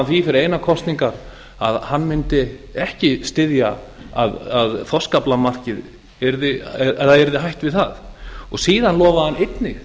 því fyrir einar kosningar að hann mundi ekki styðja að hætt yrði við þorskaflamarkið síðan lofaði hann einnig